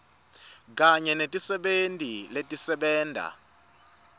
kanye netisebenti letisebenta